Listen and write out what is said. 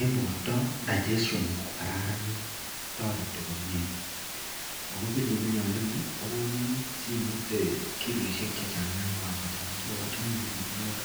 en borta digestion kokararanit akotareti komie ako pilipiliat ndoni kokonin simete kiloishek chechang yankwakochanga ako achome bilibiliot.